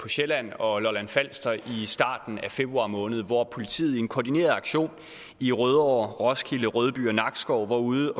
på sjælland og lolland falster i starten af februar måned hvor politiet i en koordineret aktion i rødovre roskilde rødby og nakskov var ude